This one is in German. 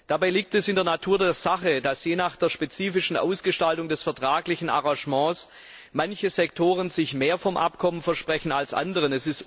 Dabei liegt es in der Natur der Sache, dass je nach der spezifischen Ausgestaltung des vertraglichen Arrangements manche Sektoren sich mehr vom Abkommen versprechen als andere.